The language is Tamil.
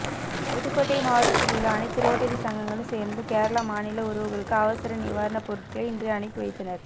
புதுக்கோட்டை மாவட்டத்தில் உள்ள அனைத்து ரோட்டரி சங்கங்களும் சேர்ந்து கேரள மாநில உறவுகளுக்கு அவசர நிவாரண பொருட்களை இன்று அனுப்பிவைத்தனர்